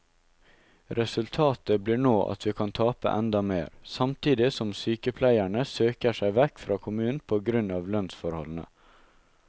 Resultatet blir nå at vi kan tape enda mer, samtidig som sykepleierne søker seg vekk fra kommunen på grunn av lønnsforholdene.